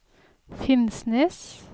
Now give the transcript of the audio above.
Finnsnes